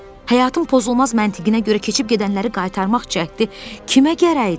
Həyatın pozulmaz məntiqinə görə keçib gedənləri qaytarmaq cəhdi kimə gərəkdir?